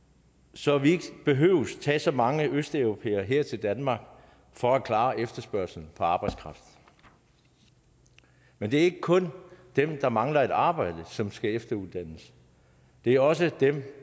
så vi ikke behøver at tage så mange østarbejdere her til danmark for at klare efterspørgslen på arbejdskraft men det er ikke kun dem der mangler et arbejde som skal efteruddannes det er også dem